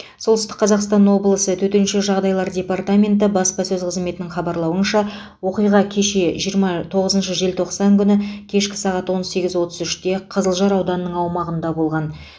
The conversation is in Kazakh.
солтүстік қазақстан облысы төтенше жағдайлар департаменті баспасөз қызметінің хабарлауынша оқиға кеше жиырма тоғызыншы желтоқсан күні кешкі сағат он сегіз отыз үште қызылжар ауданының аумағында болған